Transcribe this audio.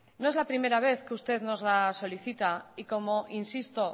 no es la primera vez que usted nos la solicita y como insisto